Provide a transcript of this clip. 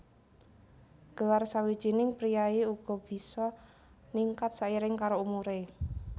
Gelar sawijining priyayi uga bisa ningkat sairing karo umuré